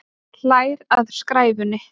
Hlær að skræfunni.